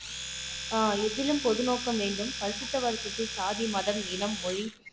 ஆஹ் எதிலும் பொது நோக்கம் வேண்டும் பசித்தவர்களுக்கு சாதி மதம் இனம் மொழி